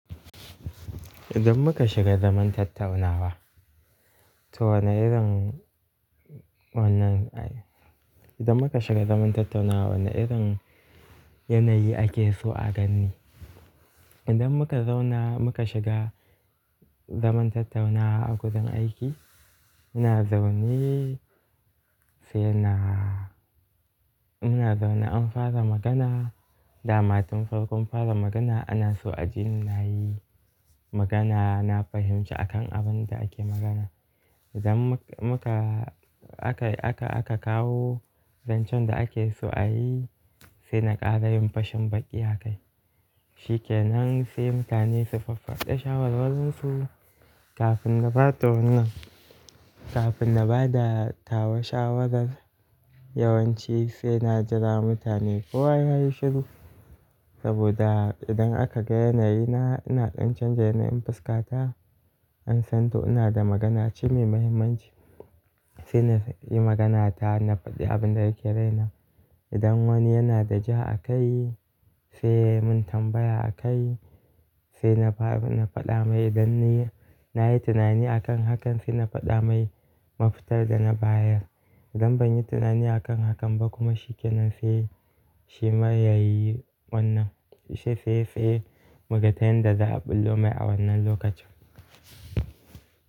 Idan muka shiga zaman tattaunawa, to wane irin wannan idan muka shiga zaman tattaunawa wane irin yanayi ake so a gani? Idan muka zauna, muka shiga, zaman tattaunawa a gurin aiki, muna zaune sai na muna zaune an fara magana, dama tun farkon fara magana ana so a jini na yi magana, na fahimci akan abin da ake magana. Idan muka aka, aka, aka kawo zancen da ake so a yi, sai na ƙara yin fashin baƙi a kai. Shikenan sai mutane su faffada shawarwarin su, kafin na bada wannan, Kafin na bada tawa shawarar, yawan ci sai na jira mutane kowa ya yi shiru, saboda idan aka ga yanayina ina ɗan canza yanayin fuskata, an san to ina da magana ce mai mahimmanci. Sai na yi maganata na faɗi abin da yake raina. Idan wani yana da ja a kai, sai yai mun tambaya a kai, sai na fara, na faɗa mai idan ni na yi tunani akan hakan sai na faɗa mai mafitar da na bayar. Idan ban yi tunani a kan hakan ba kuma shikenan sai, shi ma ya yi wannan, shi sai, sai muga ta yanda za a ɓullo mai a wannan lokacin.